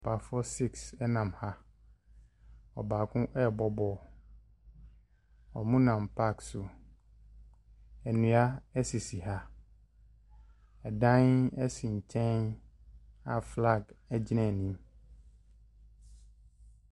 Papafoɔ siks ɛnam ha, ɔbaako ɛɛbɔ bɔɔlo. Ɔmo nam paake so, nua esisi ha, ɛdan ɛsi nkyɛn a flaage ɛgyina anim.